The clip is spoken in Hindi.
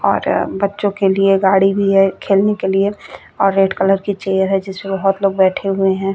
और बच्चों के लिए गाड़ी भी है खेलने के लिए और रेड कलर की चेयर है जिसपे बहोत लोग बैठे हुए है।